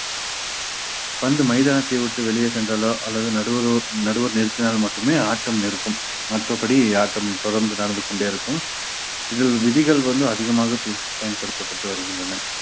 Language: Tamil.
பந்து மைதானத்தை விட்டு வெளியே சென்றாலோ அல்லது நடுவரோ நடுவர் நிறுத்தினால் மட்டுமே ஆட்டம் நிர்க்கும் மற்றபடி ஆட்டம் தொடர்ந்து நடந்து கொண்டே இருக்கும் இதில் விதிகள் வந்து அதிகமாக பேச~ பயன்படுத்தப்பட்டு வருகின்றன